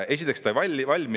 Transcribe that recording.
Esiteks, ta ei valmi.